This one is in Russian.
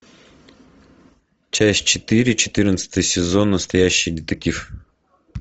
часть четыре четырнадцатый сезон настоящий детектив